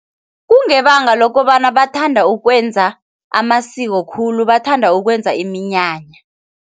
Kungebanga lokobana bathanda ukwenza amasiko khulu. Bathanda ukwenza iminyanya.